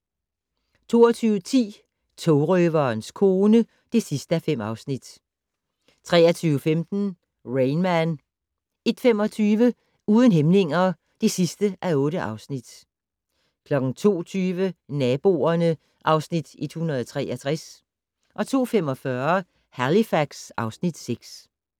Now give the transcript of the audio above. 22:10: Togrøverens kone (5:5) 23:15: Rain Man 01:25: Uden hæmninger (8:8) 02:20: Naboerne (Afs. 163) 02:45: Halifax (Afs. 6)